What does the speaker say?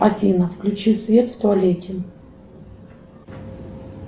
афина включи свет в туалете